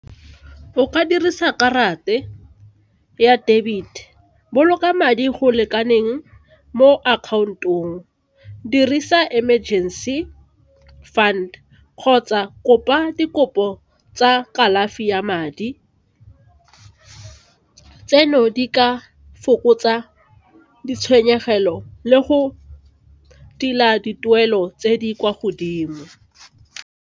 O ka dirisa ya debit boloka madi go lekaneng mo account-ong, dirisa emergency fund kgotsa kopa di kopo tsa kalafi ya madi tseno di ka fokotsa ditshwenyegelo le go tila dituelo tse di kwa godimo.